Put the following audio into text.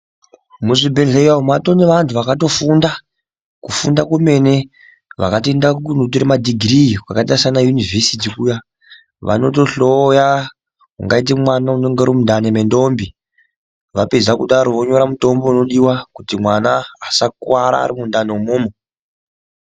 Muzvibhedhleya umu mwato naantu akaenda kofunda kufunda kwemene vakatoenda kunotore madhigirii kwakaite sanayunivhesiti kuya vanotohloya ungaite mwana unenge ari mundani mwendombi vapedza kudaro vonyora mutombo unodiwa kuti mwana askuwara ari mundani umomo.